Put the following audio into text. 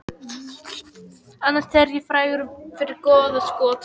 Annars er ég frægur fyrir góða skot